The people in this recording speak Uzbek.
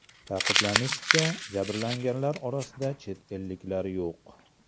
Ta’kidlanishicha, jabrlanganlar orasida chet elliklar yo‘q.